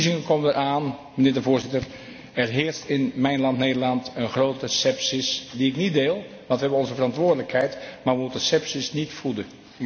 De verkiezingen komen eraan, mijnheer de Voorzitter, er heerst in mijn land, Nederland, een grote scepsis die ik niet deel, want wij hebben onze verantwoordelijkheid maar wij moeten scepsis niet voeden.